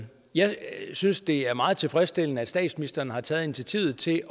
jeg synes det er meget tilfredsstillende at statsministeren har taget initiativ til